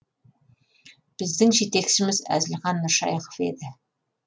біздің жетекшіміз әзілхан нұршайықов еді